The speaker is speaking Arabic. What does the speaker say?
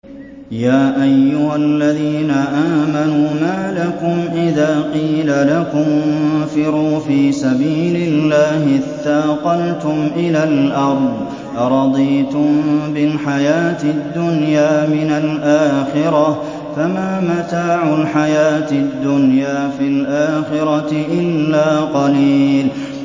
يَا أَيُّهَا الَّذِينَ آمَنُوا مَا لَكُمْ إِذَا قِيلَ لَكُمُ انفِرُوا فِي سَبِيلِ اللَّهِ اثَّاقَلْتُمْ إِلَى الْأَرْضِ ۚ أَرَضِيتُم بِالْحَيَاةِ الدُّنْيَا مِنَ الْآخِرَةِ ۚ فَمَا مَتَاعُ الْحَيَاةِ الدُّنْيَا فِي الْآخِرَةِ إِلَّا قَلِيلٌ